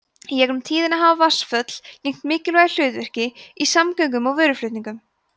í gegnum tíðina hafa vatnsföll gegnt mikilvægu hlutverki í samgöngum og vöruflutningum